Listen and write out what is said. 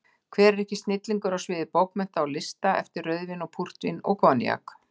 Hver er ekki snillingur á sviði bókmennta og lista eftir rauðvín og púrtvín og koníak?